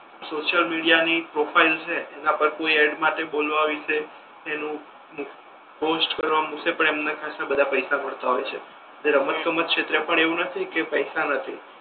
social media ની profile છે એના પર કોઈ એડ માટે બોલવા વિશે તેનુ પોસ્ટ કરવા મૂકસે પર એના પર ખાસા બધા પૈસા મળતા હોય છે તે રમત ગમત છે ત્યા એવુ નથી કે પૈસા નથી